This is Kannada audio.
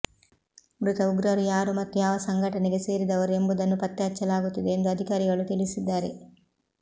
ಮೃತ ಉಗ್ರರು ಯಾರು ಮತ್ತು ಯಾವ ಸಂಘಟನೆಗೆ ಸೇರಿದವರು ಎಂಬುದನ್ನು ಪತ್ತೆ ಹಚ್ಚಲಾಗುತ್ತಿದೆ ಎಂದು ಅಧಿಕಾರಿಗಳು ತಿಳಿಸಿದ್ದಾರೆ